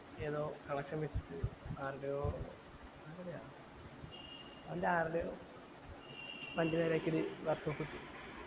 ഏതോ connection വച്ചിട്ട് ആര്ടെയോ അവൻ്റെ ആര്ടെയോ വണ്ടി നേരെ ആക്കിയത് work shape എത്തി